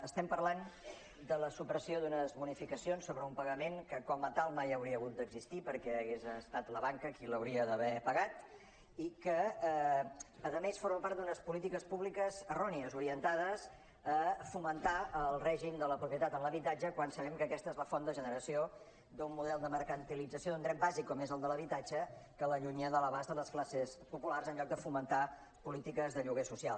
estem parlant de la supressió d’unes bonificacions sobre un pagament que com a tal mai hauria hagut d’existir perquè hauria estat la banca qui l’hauria d’haver pagat i que a més forma part d’unes polítiques públiques errònies orientades a fomentar el règim de la pro·pietat en l’habitatge quan sabem que aquesta és la font de generació d’un model de mercantilització d’un dret bàsic com és el de l’habitatge que l’allunya de l’abast de les classes populars en lloc de fomentar polítiques de lloguer social